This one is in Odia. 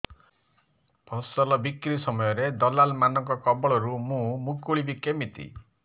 ଫସଲ ବିକ୍ରୀ ସମୟରେ ଦଲାଲ୍ ମାନଙ୍କ କବଳରୁ ମୁଁ ମୁକୁଳିଵି କେମିତି